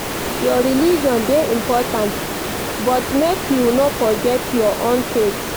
Your religion dey important but make you no forget your own faith